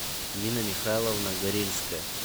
нина михайловна горельская